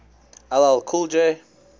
ll cool j